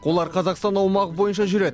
олар қазақстан аумағы бойынша жүреді